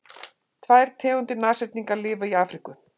tvær tegundir nashyrninga lifa í afríku